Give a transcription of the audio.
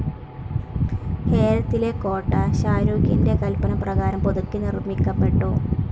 ഹേരത്തിലെ കോട്ട ഷാരുഖിൻ്റെ കൽപ്പനപ്രകാരം പുതുക്കി നിർമ്മിക്കപ്പെട്ടു.